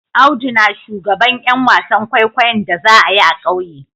Audu na shugaban Yan wasan kwaikwayo'n da za'a yi a'kauye.